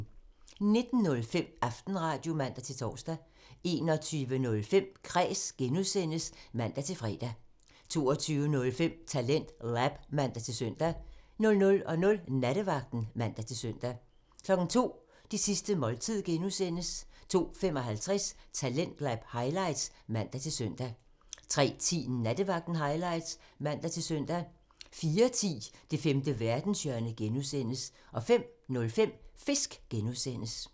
19:05: Aftenradio (man-tor) 21:05: Kræs (G) (man-fre) 22:05: TalentLab (man-søn) 00:00: Nattevagten (man-søn) 02:00: Det sidste måltid (G) (man) 02:55: Talentlab highlights (man-søn) 03:10: Nattevagten highlights (man-søn) 04:10: Det femte verdenshjørne (G) (man) 05:05: Fisk (G) (man)